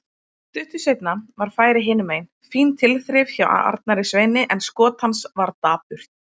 Stuttu seinna var færi hinumegin, fín tilþrif hjá Arnari Sveini en skot hans var dapurt.